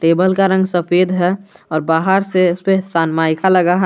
Table का रंग सफेद है और बाहर से इस पे सनमाइका लगा है।